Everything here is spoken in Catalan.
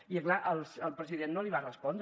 i és clar el president no li va respondre